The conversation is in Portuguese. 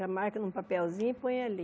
Já marca num papelzinho e põe ali.